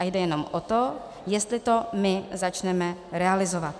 A jde jenom o to, jestli to my začneme realizovat.